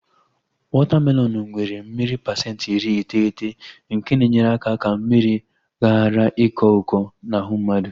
Wọta melọnu nwere mmiri pasenti iri iteghete nke na-enyere aka ka mmiri ghara ịkọ ụkọ n'ahụ mmadụ